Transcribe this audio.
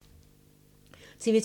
TV 2